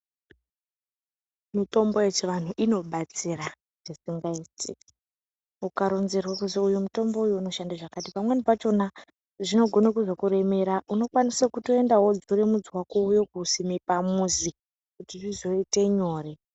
Mitombo yechivantu inobatsira zvisingaita ukaronzerwa kuzwi uyu mutombo uyu unoshanda zvakati pamweni pakhona zvinogona kuzokuremera unokwanisa kutoenda wodzura mudzi wako wouya kousima pamuzi kjti zvizoite nyore.